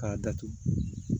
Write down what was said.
K'a datugu